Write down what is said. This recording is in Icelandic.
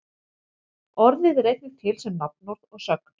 Orðið er einnig til sem nafnorð og sögn.